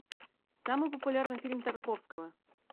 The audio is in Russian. самый популярный фильм тарковского